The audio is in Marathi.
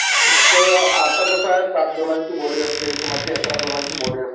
एक आता कसं आहे, सात जणांची बॉडी असते. कुणाची अकरा जणांची बॉडी असते.